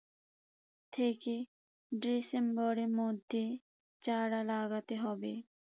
থেকে ডিসেম্বরের মধ্যে চারা লাগাতে হবে।